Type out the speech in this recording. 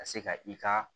Ka se ka i ka